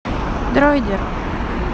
дроидер